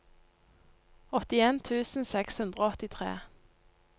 åttien tusen seks hundre og åttitre